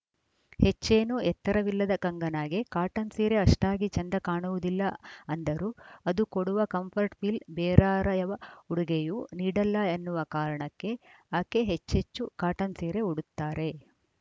ಹೆಚ್ಚೇನೂ ಎತ್ತರವಿಲ್ಲದ ಕಂಗನಾಗೆ ಕಾಟನ್‌ ಸೀರೆ ಅಷ್ಟಾಗಿ ಚೆಂದ ಕಾಣುವುದಿಲ್ಲ ಅಂದರೂ ಅದು ಕೊಡುವ ಕಂಫರ್ಟ್‌ ಫೀಲ್‌ ಬೇರಾರ‍ಯವ ಉಡುಗೆಯೂ ನೀಡಲ್ಲ ಅನ್ನುವ ಕಾರಣಕ್ಕೆ ಈಕೆ ಹೆಚ್ಚೆಚ್ಚು ಕಾಟನ್‌ ಸೀರೆ ಉಡುತ್ತಾರೆ